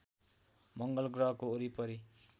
मङ्गल ग्रहको वरिपरि